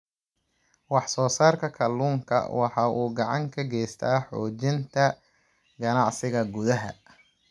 Wax soo saarka kalluunka waxa uu gacan ka geystaa xoojinta ganacsiga gudaha.